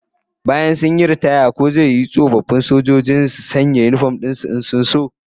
After retirement, will it be an offence for armed forces members to wear uniforms whenever they wish?